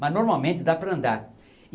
Mas normalmente dá para andar.